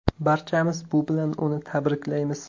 Barchamiz bu bilan uni tabriklaymiz.